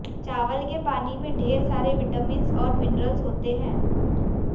चावल के पानी में ढेर सारे विटमिन्स और मिनरल्स होते हैं